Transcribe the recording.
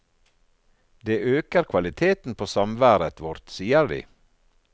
Det øker kvaliteten på samværet vårt, sier de.